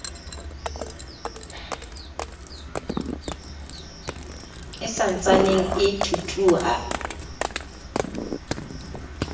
e sa ntsaneng e thuthuha